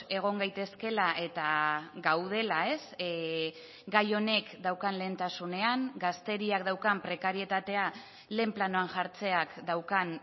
egon gaitezkeela eta gaudela gai honek daukan lehentasunean gazteriak daukan prekarietatea lehen planoan jartzeak daukan